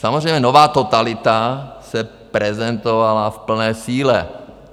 Samozřejmě nová totalita se prezentovala v plné síle.